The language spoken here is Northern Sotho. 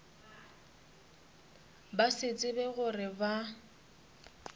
ba se tsebe gore ba